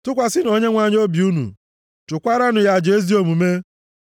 Tụkwasịnụ Onyenwe anyị obi unu, chụkwaranụ ya aja ezi omume.